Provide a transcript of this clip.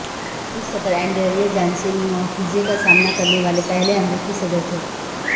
سابق صدر Andrew Johnson مواخذے کا سامنا کرنے والے پہلے امریکی صدر تھے